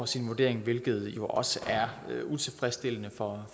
sin vurdering hvilket jo også er utilfredsstillende for